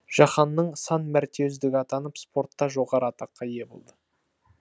жаһанның сан мәрте үздігі атанып спортта жоғары атаққа ие болды